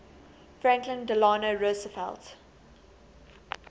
franklin delano roosevelt